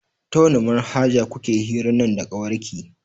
Ta wani manhajar kuke hiran nan da kawarki?